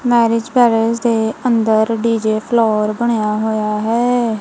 Marriage palace ਦੇ ਅੰਦਰ DJ floor ਬਣਿਆ ਹੋਇਆ ਹੈ।